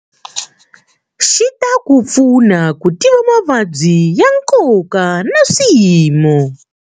Xi ta ku pfuna ku tiva mavabyi ya nkoka na swiyimo.